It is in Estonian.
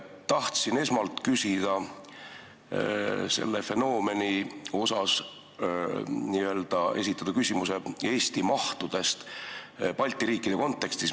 Tahtsin esmalt küsida selle fenomeni kohta ja esitada küsimuse Eesti mahtude kohta Balti riikide kontekstis.